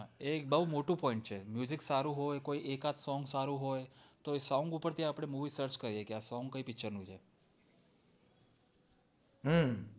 એક બોવ મોટું point છે સારું હોય કોઈ એકાદ song સારું હોય તો song પરથી movie search કરીએ આ song ક્યાં picture છે